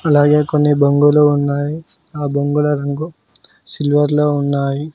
అలాగే కొన్ని బొంగులో ఉన్నాయి ఆ బొంగుల రంగు సిల్వర్ లో ఉన్నాయి.